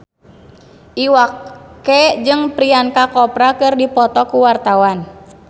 Iwa K jeung Priyanka Chopra keur dipoto ku wartawan